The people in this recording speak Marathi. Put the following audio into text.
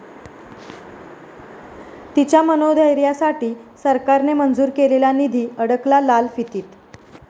ती'च्या मनोधैर्यासाठी सरकारने मंजूर केलेला निधी अडकला लालफितीत